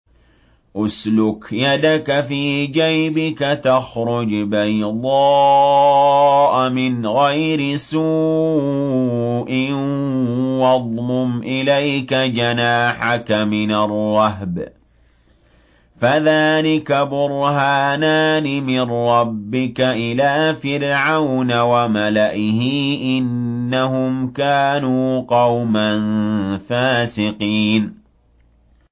اسْلُكْ يَدَكَ فِي جَيْبِكَ تَخْرُجْ بَيْضَاءَ مِنْ غَيْرِ سُوءٍ وَاضْمُمْ إِلَيْكَ جَنَاحَكَ مِنَ الرَّهْبِ ۖ فَذَانِكَ بُرْهَانَانِ مِن رَّبِّكَ إِلَىٰ فِرْعَوْنَ وَمَلَئِهِ ۚ إِنَّهُمْ كَانُوا قَوْمًا فَاسِقِينَ